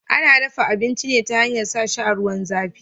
Ana dafa abinci ne ta hanyar sa shi a ruwan zafi